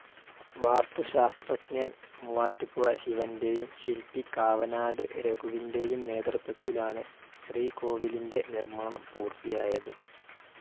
വാസ്തുശാസ്ത്രജ്ഞൻ മൂവാറ്റുപുഴ ശിവന്റെയും ശിൽപി കാവനാട് രഘുവിന്റെയും നേതൃത്വത്തിലാണ് ശ്രീകോവിലിന്റെ നിർമ്മാണം പുർത്തിയായത്.